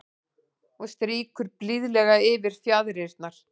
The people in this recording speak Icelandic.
Og strýkur blíðlega yfir fjaðrirnar.